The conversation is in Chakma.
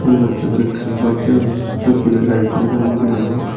thon machi guri ekkan ghor degongor sut dibi light jolodonne degongor.